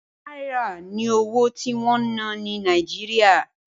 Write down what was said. Náírà ni owó tí wọ́n ń ná ní Nàìjíríà